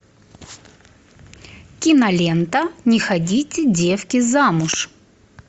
кинолента не ходите девки замуж